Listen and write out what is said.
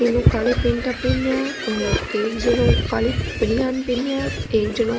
तीनो काला पेंटा पहना और एक जनो काली बनियान पहना एक जनो --